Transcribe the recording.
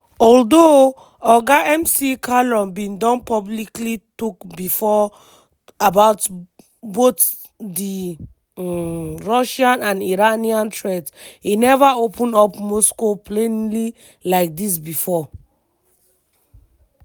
although oga mccallum bin don publicly tok before about both di um russian and iranian threats e neva open up moscow plainly like dis bifor.